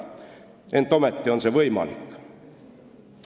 Ent ometi on see võimalik.